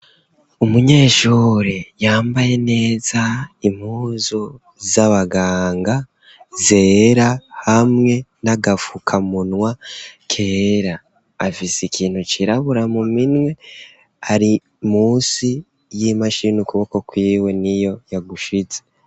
Umunyeshure yambaye neza impuzu z'abaganga zera hamwe n'agafukamunwa kera. Afise ikintu cirabura mu minwe ari munsi y'imashini ukuboko kw'iwe niyo yagushize.